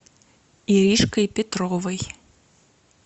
иришкой петровой